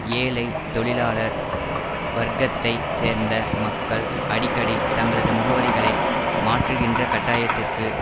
ஏழை தொழிலாளர் வர்க்கத்தைச் சேர்ந்த மக்கள் அடிக்கடி தங்களது முகவரிகளை மாற்றுகின்ற கட்டாயத்திற்கு